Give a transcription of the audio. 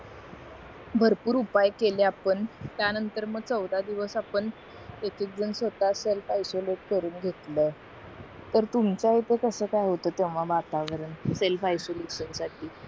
भरपूर उपाय केले आपण त्या नतंर मग चोधा दिवस आपण एक एक जण स्वतः करून घेतलं तर तुंकझ्या इथे कस काय होत वातावरण सेल्फ आयसोलेशन साठी